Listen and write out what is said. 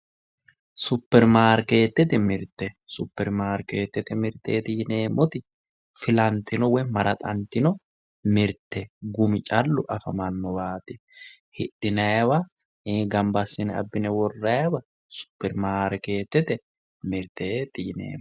Superimaarketete mirte ,superimaarketete mirteti yineemmoti filantino woyi maraxatino mirte gumi callu afamanowati hidhinayiwa ii'i gamba assine abbine worrayiwa superimaarketete mirteti yineemmo.